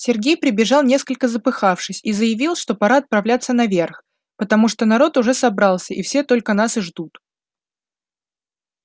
сергей прибежал несколько запыхавшись и заявил что пора отправляться наверх потому что народ уже собрался и все только нас и ждут